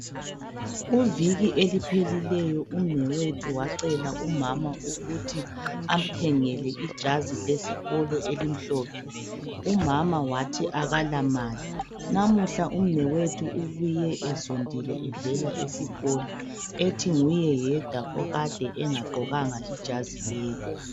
Kuviki eliphelileyo umnewethu wacela umama ukuthi amthengele ijazi lesikolo elimhlophe, umama wathi akala mali. Namuhla umnewethu ubuye ezondile evela esikolo ethi nguye yedwa okade engagqokanga ijazi lelo.